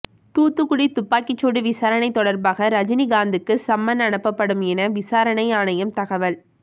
தூத்துக்குடி துப்பாக்கிச்சூடு விசாரணை தொடர்பாக ரஜினிகாந்துக்கு சம்மன் அனுப்பப்படும் என விசாரணை ஆணையம் தகவல்